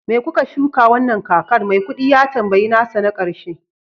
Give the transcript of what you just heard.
me kuke shuka wannan kakar? maikudi ya tambayi nasa na karshe